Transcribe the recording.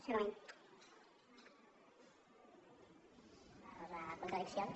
per contradiccions